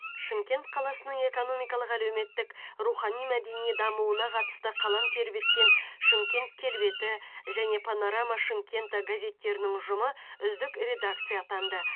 шымкент қаласының экономикалық әлеуметтік рухани мәдени дамуына қатысты қалам тербеткен шымкент келбеті және панорама шымкента газеттерінің ұжымы үздік редакция атанды